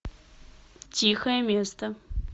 тихое место